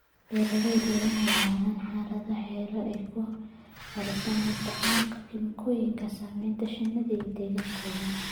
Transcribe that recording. Beeralayda waa inay lahaadaan xeelado ay ku yareynayaan isticmaalka kiimikooyinka saameynaya shinnida iyo deegaankooda.